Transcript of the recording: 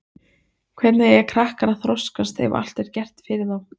Hvernig eiga krakkar að þroskast ef allt er gert fyrir þá?